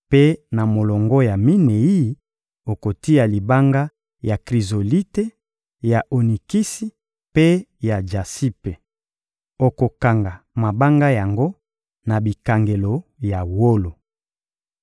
mpe na molongo ya minei, okotia libanga ya krizolite, ya onikisi mpe ya jasipe. Okokanga mabanga yango na bikangelo ya wolo.